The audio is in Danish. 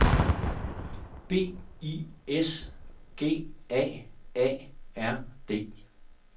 B I S G A A R D